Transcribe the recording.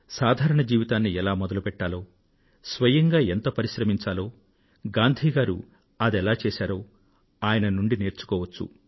సాధారణ జీవితాన్ని ఎలా మొదలుపెట్టాలో స్వయంగా ఎంత పరిశ్రమించాలో గాంధీ గారు అదెలా చేశారో ఆయన నుండి నేర్చుకోవచ్చు